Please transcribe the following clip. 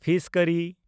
fees ᱠᱟᱨᱤ